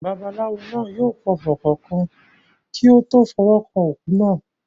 Babaláwo náà yóò pọfọ̀ kọ̀ọ̀kan kí ó tó fọwọ́ kan òkú náà.